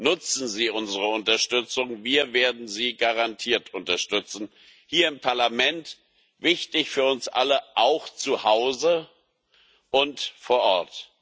Nutzen Sie unsere Unterstützung, wir werden sie garantiert unterstützen, hier im Parlament und wichtig für uns alle auch zu Hause und vor Ort.